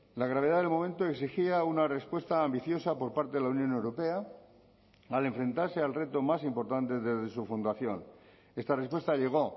la gravedad del momento exigía una respuesta ambiciosa por parte de la unión europea al enfrentarse al reto más importante desde su fundación esta respuesta llegó